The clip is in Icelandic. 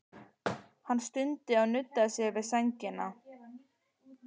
Hann stundi og nuddaði sér við sængina.